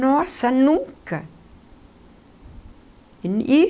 Nossa, nunca e.